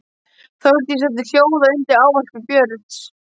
Þórdísi setti hljóða undir ávarpi Björns.